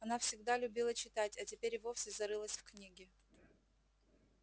она всегда любила читать а теперь и вовсе зарылась в книги